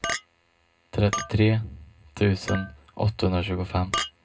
trettiotre tusen åttahundratjugofem